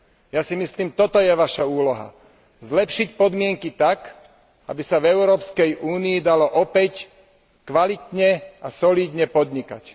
Ja si myslím, že toto je vaša úloha zlepšiť podmienky tak, aby sa v Európskej únii dalo opäť kvalitne a solídne podnikať.